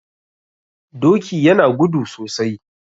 Doki yana gudu sosai